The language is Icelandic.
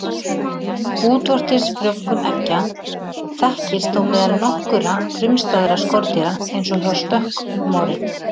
Útvortis frjóvgun eggja þekkist þó meðal nokkurra frumstæðra skordýra eins og hjá stökkmori.